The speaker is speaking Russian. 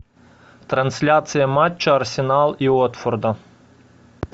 трансляция матча арсенал и уотфорда